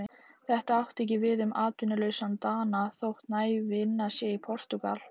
Þetta á ekki við um atvinnulausan Dana, þótt næg vinna sé í Portúgal.